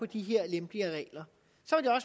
de her lempeligere regler